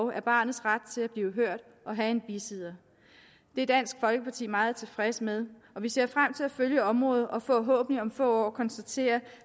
er barnets ret til at blive hørt og have en bisidder det er dansk folkeparti meget tilfreds med og vi ser frem til at følge området og forhåbentlig om få år konstatere